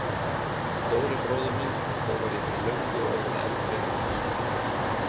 Stóri bróðir minn en þó var ég fyrir löngu orðinn eldri en hann.